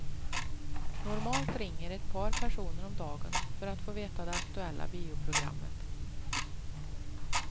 Normalt ringer ett par personer om dagen för att få veta det aktuella bioprogrammet.